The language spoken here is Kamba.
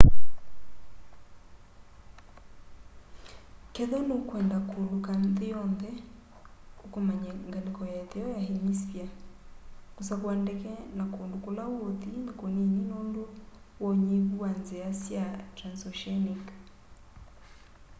kethwa nukwenda kuuluka nthi yonthe ukomany'e ngaliko ya itheo ya hemisphere kusakua ndeke na kundu kula uuthi ni kunini nundu wa unyivu wa nzia sya transoceanic